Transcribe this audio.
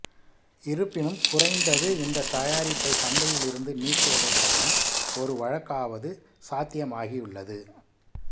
இருப்பினும் குறைந்தது இந்த தயாரிப்பை சந்தையிலிருந்து நீக்குவதற்கான ஒரு வழக்காவது சாத்தியமாகியுள்ளது